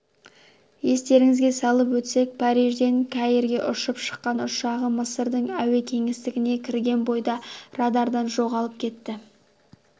естеріңізге салып өтсек парижден каирге ұшып шыққан ұшағы мысырдың әуе кеңістігіне кірген бойда радардан жоғалып кетті